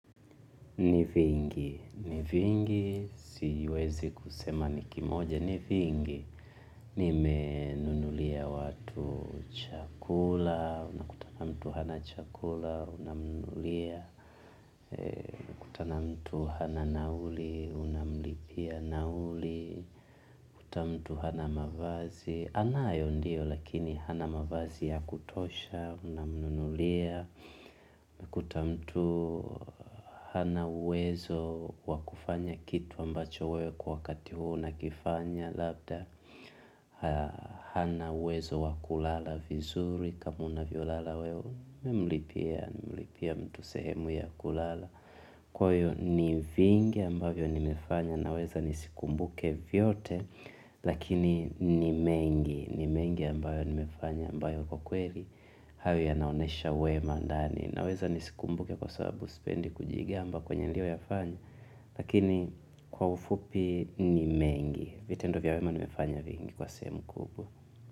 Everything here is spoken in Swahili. Nivingi, nivingi siwezi kusema nikimoja nivingi. Nimenunulia watu chakula, unakuta mtu hana chakula, unamnunulia kutana mtu hana nauli unamlipia nauli, ukikuta mtu hana mavazi, anayo ndiyo lakini hana mavazi ya kutosha, unamnunulia, ukikuta mtu hana uwezo wa kufanya kitu ambacho wewe kwa wakati huu unakifanya labda hana uwezo wa kulala vizuri kama unavyolala wewe, mimi humlipia mtu sehemu ya kulala kwa hivyo ni vingi ambayo nimefanya naweza nisikumbuke vyote lakini ni mengi, ni mengi ambayo nimefanya ambayo kwa kweli hayo yanaonyesha wema ndani, naweza nisikumbuke kwa sababu sipendi kujigamba kwenye niliyoyafanya lakini kwa ufupi ni mengi vitendo vya wema nimefanya vingi kwa sehemu kubwa.